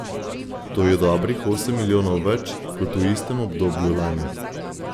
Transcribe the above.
To je dobrih osem milijonov več kot v istem obdobju lani.